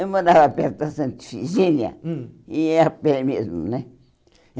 Eu morava perto da Santa Efigênia, hum e ia a pé mesmo, né?